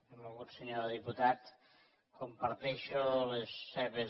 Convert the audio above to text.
benvolgut senyor diputat comparteixo les seves